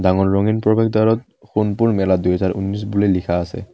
ডাঙৰ ৰঙীন প্ৰৱেশদ্বাৰত সোণপুৰ মেলা দুহাজাৰ উন্নিছ বুলি লিখা আছে।